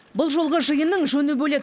бұл жолғы жиынның жөні бөлек